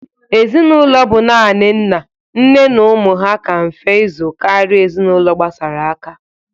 Ezinaụlọ bụ nani nna, nne na umụ ha ka mfe ịzụ kara ezinaụlọ gbasara aka.